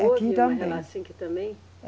Houve uma relação também?